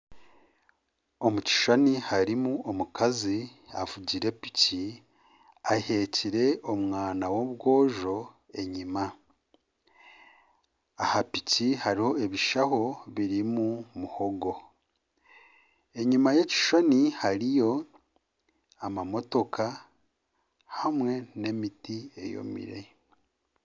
Omu kishushani harimu omukazi avugire piki. Aheekire omwana w'omwojo enyima. Aha piki hariho ebishaho birimu muhogo. Enyima y'ekishushani hariyo amamotoka hamwe n'emiti eyomire.